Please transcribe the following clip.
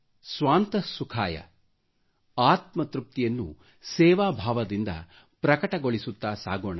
ಸ್ವಾಂತ ಸುಖಾಯ ಆತ್ಮ ತೃಪ್ತಿಯನ್ನು ಸೇವಾ ಭಾವದಿಂದ ಪ್ರಕಟಗೊಳಿಸುತ್ತ ಸಾಗೋಣ